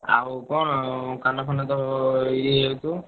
ଆଉ କଣ କାନ ଫାନ ତ ଇଏ ହେଇଯାଉଥିବ?